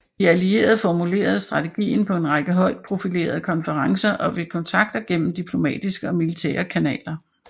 De allierede formulerede strategien på en række højt profilerede konferencer og ved kontakter gennem diplomatiske og militære kanaler